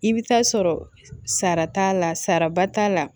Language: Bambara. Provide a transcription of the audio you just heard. I bɛ taa sɔrɔ sara t'a la saraba t'a la